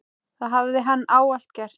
Það hafi hann ávallt gert.